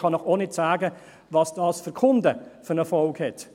Ich kann Ihnen auch nicht sagen, was das für die Kunden für zur Folge hat.